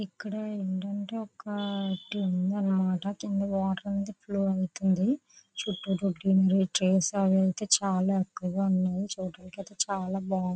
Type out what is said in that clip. ఇక్కడ ఏంటంటే ఒక టి ఉందన్నమాట. కింద వాటర్ ఉంది. ఫ్లో వెళ్తుంది. చుట్టూ చేసా వెళ్తే చాలా ఎక్కువగా ఉన్నాయి. చూడ్డానికి ఐతే చాలా బాగున్నాయి.